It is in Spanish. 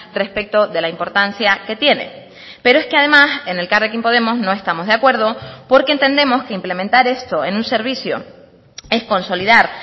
respecto de la importancia que tiene pero es que además en elkarrekin podemos no estamos de acuerdo porque entendemos que implementar esto en un servicio es consolidar